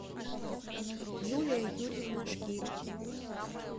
юлия юрьевна шкиль